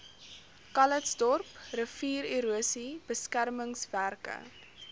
calitzdorp riviererosie beskermingswerke